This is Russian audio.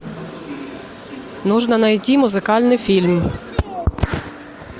нужно найти музыкальный фильм